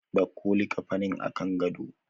Dauko likkafanin a kan gado.